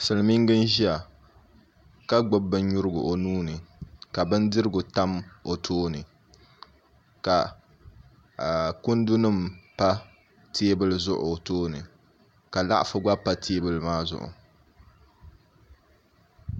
Silmiinga n ʒiya ka gbubi binnyurigu o nuuni ka bindirigu tam tooni ka kundi nim pa teebuli zuɣu o tooni ka laɣafu gba pa teebuli maa zuɣu